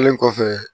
Kelen kɔfɛ